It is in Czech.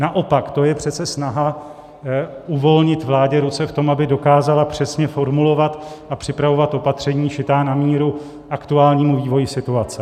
Naopak je to přece snaha uvolnit vládě ruce v tom, aby dokázala přesně formulovat a připravovat opatření šitá na míru aktuálnímu vývoji situace.